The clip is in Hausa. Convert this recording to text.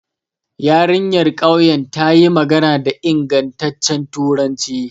Yarinyar ƙauyen ta yi magana da ingantaccen turanci.